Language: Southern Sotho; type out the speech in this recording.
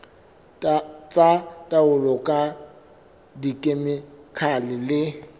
tsa taolo ka dikhemikhale le